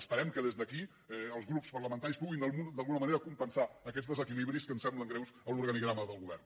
esperem que des d’aquí els grups parlamentaris puguin d’alguna manera compensar aquests desequilibris que ens semblen greus en l’organigrama del govern